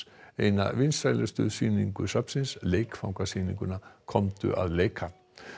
eina vinsælustu sýningu safnsins komdu að leika